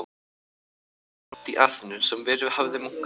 Ég var með bréf frá presti í Aþenu, sem verið hafði munkur í